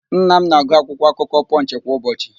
Nna m na-agụ akwụkwọakụkọ Pọnch kwa ụbọchị.